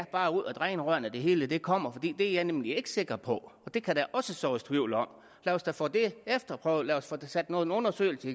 bare er ud af drænrørene det hele kommer for det er jeg nemlig ikke sikker på det kan der også sås tvivl om lad os da få det efterprøvet lad os sat nogle undersøgelser